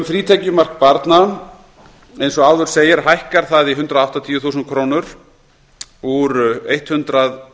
frítekjumark barna hækkar eins og áður segir í hundrað áttatíu þúsund krónur úr hundrað